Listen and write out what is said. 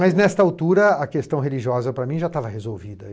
nesta altura, a questão religiosa para mim já estava resolvida.